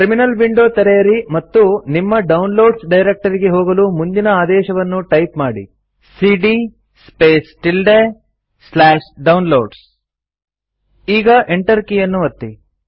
terminal window ತೆರೆಯಿರಿ ಮತ್ತು ನಿಮ್ಮ ಡೌನ್ಲೋಡ್ಸ್ ಡೈರೆಕ್ಟರಿಗೆ ಹೋಗಲು ಮುಂದಿನ ಆದೇಶವನ್ನು ಟೈಪ್ ಮಾಡಿ160cd Downloads ಈಗ ಎಂಟರ್ ಕೀಯನ್ನು ಒತ್ತಿ